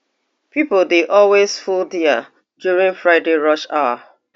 pipo dey always full dia during friday rush hour